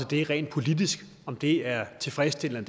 det rent politisk om det er tilfredsstillende